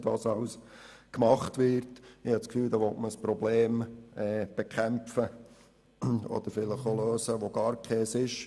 Ich habe das Gefühl, man will hier ein Problem bekämpfen oder lösen, das gar keines ist.